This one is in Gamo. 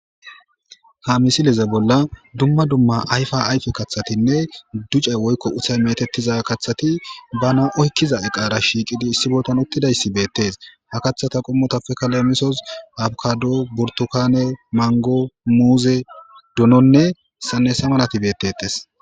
Ha misileze bolla dumma dumma ayfa ayfe kathatinne ducay woykko uthay metettiza kathati bana oykkiza eqaara shiiqidi issi boltan uttidayssi beettes ha kathata qommotappekalemisos abkado burtokane mango muuze dononne sanesa malati bettettes.